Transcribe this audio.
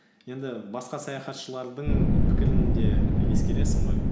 енді басқа саяхатшылардың пікірін де і ескересің ғой